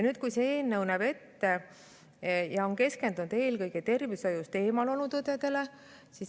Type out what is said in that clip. See eelnõu on keskendunud eelkõige tervishoiust eemal olnud õdedele.